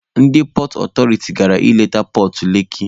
Ndị pọọt ọtọriti gara ịleta pọọt Leki.